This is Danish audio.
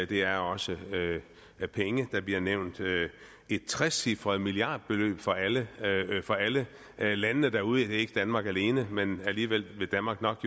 det er også penge der bliver nævnt et trecifret milliardbeløb for alle alle landene derude det er ikke danmark alene men alligevel vil danmark nok